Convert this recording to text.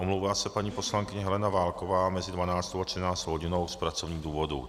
Omlouvá se paní poslankyně Helena Válková mezi 12. a 13. hodinou z pracovních důvodů.